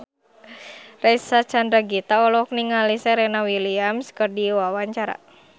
Reysa Chandragitta olohok ningali Serena Williams keur diwawancara